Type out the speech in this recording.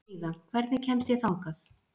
Heiða, hvernig kemst ég þangað?